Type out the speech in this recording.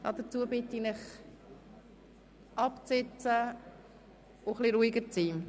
Als Erstes bitte ich Sie, an Ihren Platz zu gehen und ein bisschen ruhiger zu werden.